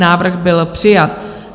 Návrh byl přijat.